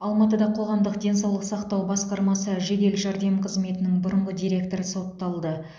алматыда қоғамдық денсаулық сақтау басқармасы жедел жәрдем қызметінің бұрынғы директоры сотталды